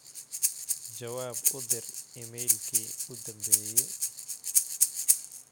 jawaab u dir iimaylkii u dambeeyay